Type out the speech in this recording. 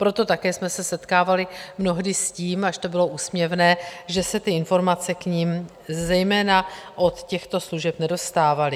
Proto také jsme se setkávali mnohdy s tím, až to bylo úsměvné, že se ty informace k nim zejména od těchto služeb nedostávaly.